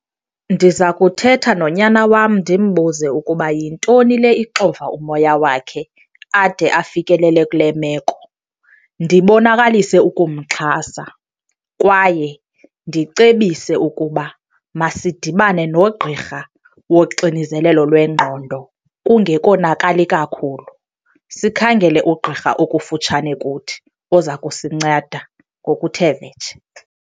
Ndiza kuthetha nonyana wam ndimbuze ukuba yintoni le ixova umoya wakhe ade afikelele kule meko. Ndibonakalise ukumxhasa kwaye ndicebise ukuba masidibane nogqirha woxinizelelo lwengqondo kungekonakali kakhulu. Sikhangele ugqirha okufutshane kuthi oza kusinceda ngokuthe vetshe.